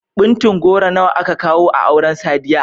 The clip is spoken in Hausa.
Ɓuntun goro nawa aka kawo a auren Sadiya?